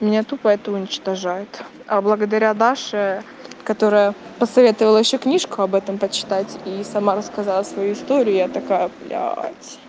меня тупо это уничтожает а благодаря даше которая посоветовала ещё книжку об этом почитать и сама рассказала свою историю я такая блядь